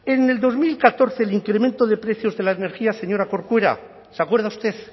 en el dos mil catorce el incremento de precios de la energía señora corcuera se acuerda usted